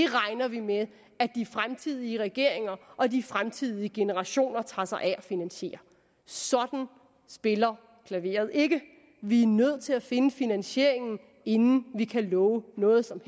regner vi med at de fremtidige regeringer og de fremtidige generationer tager sig af at finansiere sådan spiller klaveret ikke vi er nødt til at finde finansieringen inden vi kan love noget som